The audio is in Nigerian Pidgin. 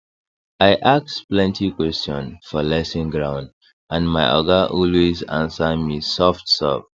i ask plenty question for lesson ground and my oga always answer me softsoft